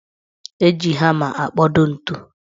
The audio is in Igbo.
Eji hama akpodo ntu